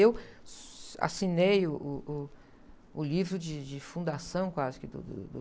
Eu assinei o livro de, de, de fundação quase que do, do, do...